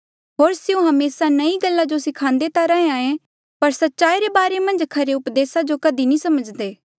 होर स्यों हमेसा नईं गल्ला जो सिख्दे ता रैंहयां ईं पर सच्चाई रे बारे मन्झ खरे उपदेसा जो कधी नी समझी सकदे